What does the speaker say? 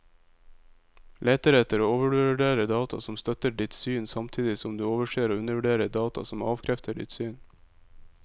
Leter etter og overvurderer data som støtter ditt syn, samtidig som du overser og undervurderer data som avkrefter ditt syn.